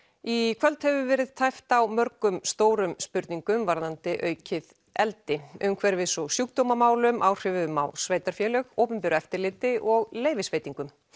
í kvöld hefur verið tæpt á mörgum stórum spurningum varðandi aukið eldi umhverfis og sjúkdómamálum áhrifum á sveitarfélög opinberu eftirliti og leyfisveitingum